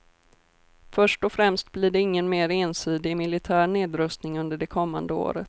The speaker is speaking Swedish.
Först och främst blir det ingen mer ensidig militär nedrustning under det kommande året.